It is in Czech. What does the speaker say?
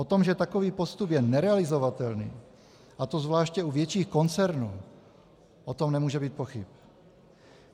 O tom, že takový postup je nerealizovatelný, a to zvláště u větších koncernů, o tom nemůže být pochyb.